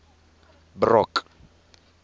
brock